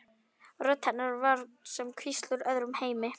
Rödd hennar var sem hvísl úr öðrum heimi.